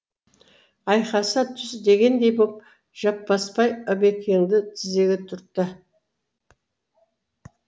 айқаса түс дегендей боп жаппасбай ыбекеңді тізеге түртті